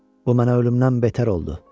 Bu mənə ölümdən betər oldu.